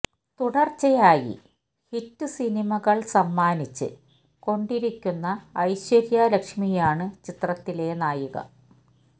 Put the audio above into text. തുടര്ച്ചയായി ഹിറ്റ് സിനിമകള് സമ്മാനിച്ച് കൊണ്ടിരിക്കുന്ന ഐശ്വര്യ ലക്ഷ്മിയാണ് ചിത്രത്തിലെ നായിക